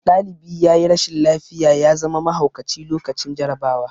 Ɗalibi yayi rashin lafiya ya zama mahaukaci lokacin jarabawa